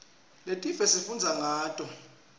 letinye sifundza ngato